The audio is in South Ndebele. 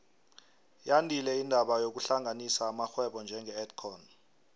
yandile indaba yokuhlanganisa amarhwebo njenge edcon